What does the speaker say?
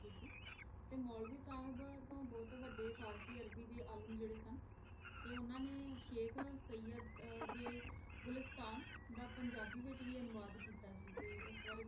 ਤੇ ਮੋਲਵੀ ਸਾਹਿਬ ਤੋਂ ਬੋਹਤ ਵਾਦੇ ਫ਼ਾਰਸੀ ਅਰਬੀ ਦੇ ਆਲਮ ਜੇਰੇ ਸਨ ਓਨਾਂ ਨੇ ਸ਼ੇਇਖ ਸਏਦ ਦੇ ਗੁਲਿਸਤਾਂ ਦਾ ਪੰਜਾਬੀ ਵਿਚ ਵੀ ਅਨੁਵਾਦ ਕੀਤਾ ਸੀ ਤੇ ਏਸ ਬਾਰੇ